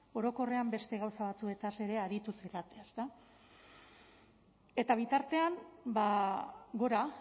orokorrean beste gauza batzuez ere aritu zarete ezta eta bitartean gora